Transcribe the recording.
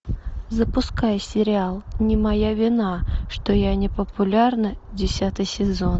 запускай сериал не моя вина что я не популярна десятый сезон